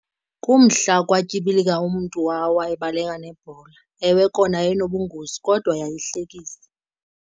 Kumhla kwatyibilika umntu wawa ebaleka nebhola. Ewe kona yayinobungozi kodwa yayihlekisa.